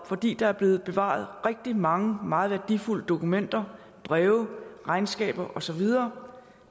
fordi der er bevaret rigtig mange meget værdifulde dokumenter breve regnskaber og så videre